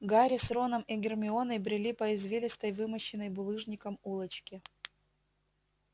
гарри с роном и гермионой брели по извилистой вымощенной булыжником улочке